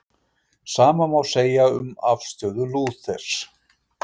Sama má segja um afstöðu Lúthers.